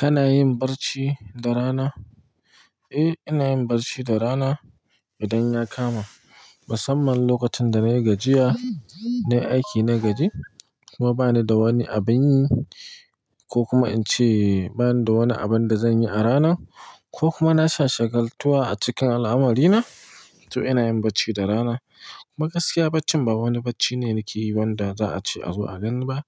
Kana yin barci da rana? Eh, ina yin barci da rana idan ya kama. Musamman lokacin da nayi gajiya, nayi aiki na gaji kuma bani da wani abin yi ko kuma in ce bani da wani abun da zan yi a ranan ko kuma na sha shagaltuwa a cikin al'amari na, to ina yin barci da rana. Kuma gaskiya barcin ba wani bacci ne nike yi wanda za a ce a zo a gani ba,